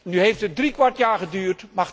Nu heeft het driekwart jaar geduurd.